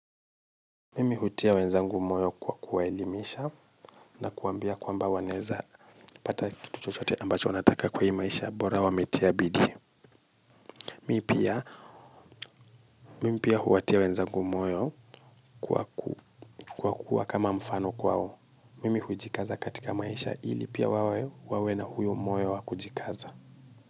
Mimi hutia wenzangu moyo kwa kuwaelimisha na kuwambia kwamba wanaeza pata. Mi pia, mimi pia huwatia wenzangu moyo kwa kuwa kama mfano kwao. Mimi hujikaza katika maisha ili pia wawe na huyo moyo wakujikaza.